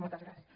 moltes gràcies